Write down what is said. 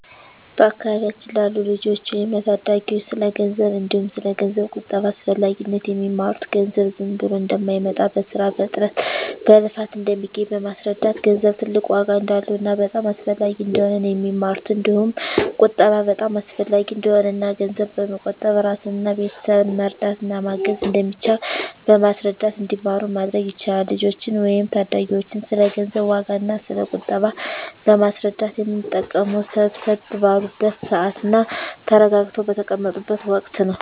በአካባቢያችን ላሉ ልጆች ወይም ለታዳጊዎች ስለ ገንዘብ እንዲሁም ስለ ገንዘብ ቁጠባ አስፈላጊነት የሚማሩት ገንዘብ ዝም ብሎ እንደማይመጣ በስራ በጥረት በልፋት እንደሚገኝ በማስረዳት ገንዘብ ትልቅ ዋጋ እንዳለውና በጣም አስፈላጊ እንደሆነ ነው የሚማሩት እንዲሁም ቁጠባ በጣም አሰፈላጊ እንደሆነና እና ገንዘብ በመቆጠብ እራስንና ቤተሰብን መርዳት እና ማገዝ እንደሚቻል በማስረዳት እንዲማሩ ማድረግ ይቻላል። ልጆችን ወይም ታዳጊዎችን ስለ ገንዘብ ዋጋ እና ስለ ቁጠባ ለማስረዳት የምንጠቀመው ሰብሰብ ባሉበት ስዓት እና ተረጋግተው በተቀመጡት ወቀት ነው።